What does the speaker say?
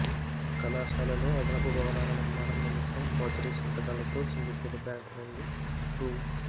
కళాశాలలో అదనపు భవనాల నిర్మాణం నిమిత్తం ఫోర్జరీ సంతకాలతో సిండికేట్ బ్యాంకు నుండి రూ